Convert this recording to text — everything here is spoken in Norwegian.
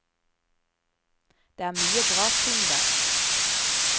Det er mye bra ting der.